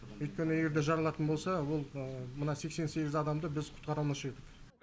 өйткені егер де жарылатын болса ол мына сексен сегіз адамды біз құтқара алмаушы едік